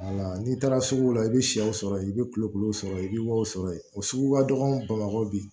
Wala n'i taara sugu la i bɛ sɛw sɔrɔ yen i bɛ kulekulu sɔrɔ yen i bɛ wariw sɔrɔ yen o sugu ka dɔgɔ bamakɔ bi